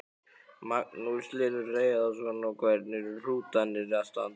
Magnús Hlynur Hreiðarsson: Og hvernig eru hrútarnir að standa sig?